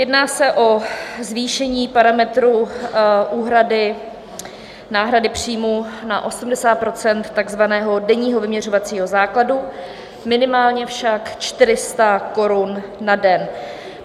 Jedná se o zvýšení parametru úhrady náhrady příjmů na 80 % takzvaného denního vyměřovacího základu, minimálně však 400 korun na den.